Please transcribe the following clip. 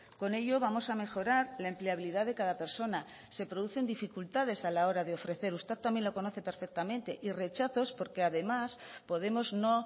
con ello vamos a mejorar la empleabilidad de cada persona se producen dificultades a la hora de ofrecer usted también lo conoce perfectamente y rechazos porque además podemos no